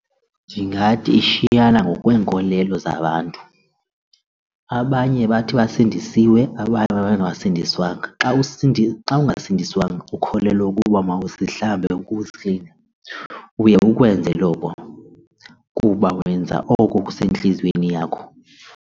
Ndingathi ishiyana ngokweenkolelo zabantu. Abanye bathi basindisiwe abanye babengasindiswanga. Xa ungasindiswanga ukholelwa ukuba mawuzihlambe ukuzila uye ukwenze oko kuba wenza oko kusentliziyweni yakho.